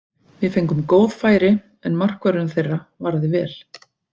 Við fengum góð færi, en markvörðurinn þeirra varði vel.